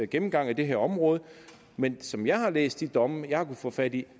gennemgang af det her område men som jeg har læst de domme jeg har kunne få fat i